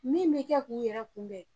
Min bɛ kɛ k'u yɛrɛ kunbɛn